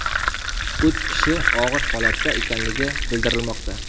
Uch kishi og‘ir holatda ekanligi bildirilmoqda.